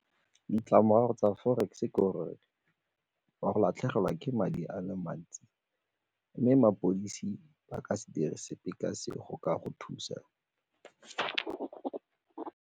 Ditlamorago tsa forex ke gore o a go latlhegelwa ke madi a le mantsi mme mapodisi ba ka se dire sepe ka se go ka go thusa.